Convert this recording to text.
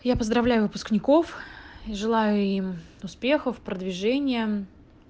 я поздравляю выпускников и желаю им успехов продвижения